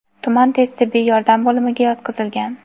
tuman tez tibbiy yordam bo‘limiga yotqizilgan.